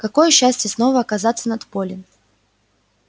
какое счастье снова оказаться над полем